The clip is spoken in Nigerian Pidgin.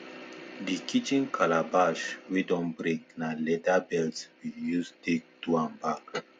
di kitchen calabash wey don break na leather belt we use take do am back